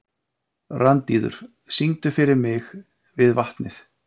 Randíður, syngdu fyrir mig „Við vatnið“.